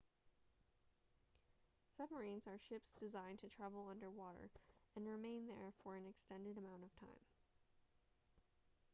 submarines are ships designed to travel underwater and remain there for an extended amount of time